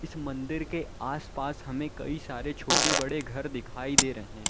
इस मंदिर के आसपास हमें कई सारे छोटे बड़े घर दिखाई दे रहे--